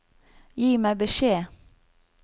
Gi meg beskjed